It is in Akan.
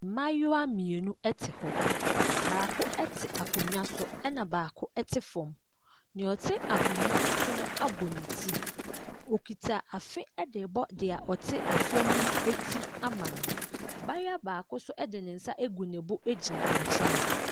Mmayewa mmienu ɛte hɔ. Baako ɛte akonnwa so ɛna baako ɛte fam. Nea ɔte akonnwa so no abɔ ne ti. Ɔkuta afe ɛdebɔ nea ɔte fam no ti ama no. Abaayewa baako nso de ne nsa gu ne bo gyina ɛnkyɛn.